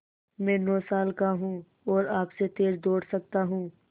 मैं नौ साल का हूँ और आपसे तेज़ दौड़ सकता हूँ